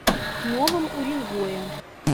новом уренгое